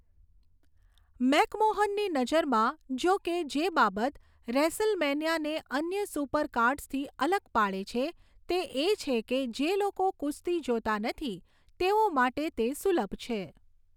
મેકમોહનની નજરમાં, જોકે, જે બાબત રેસલમેનિયાને અન્ય સુપરકાર્ડ્સથી અલગ પાડે છે તે એ છે કે જે લોકો કુસ્તી જોતા નથી તેઓ માટે તે સુલભ છે.